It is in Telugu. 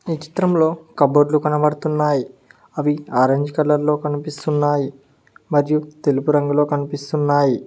ఈ చిత్రంలో కబోర్డ్ లు కనబడుతున్నాయి అవి ఆరెంజ్ కలర్ లో కనిపిస్తున్నాయి మరియు తెలుపు రంగులో కనిపిస్తున్నాయి.